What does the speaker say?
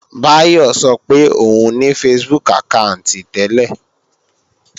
Báyọ̀ sọ pé òun ní Facebook àkáànti tẹ́lẹ̀